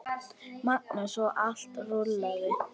Magnús: Og allt rúllað?